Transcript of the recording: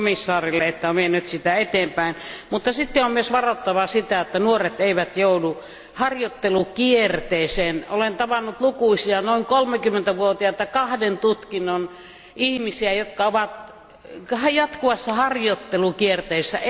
Kiitos myös komission jäsenelle, että hän on vienyt sitä eteenpäin. Mutta on myös varottava sitä, että nuoret eivät joudu harjoittelukierteeseen. Olen tavannut lukuisia noin kolmekymmentävuotiaita kahden tutkinnon ihmisiä, jotka ovat jatkuvassa harjoittelukierteessä.